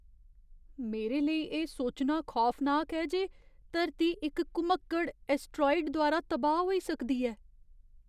मेरे लेई एह् सोचना खौफनाक ऐ जे धरती इक घुमक्कड़ ऐस्टराइड द्वारा तबाह् होई सकदी ऐ।